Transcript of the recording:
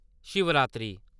Shivratri